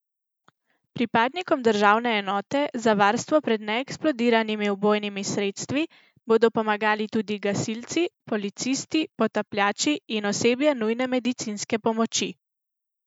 Pripadnikom Državne enote za varstvo pred neeksplodiranimi ubojnimi sredstvi bodo pomagali tudi gasilci, policisti, potapljači in osebje nujne medicinske pomoči.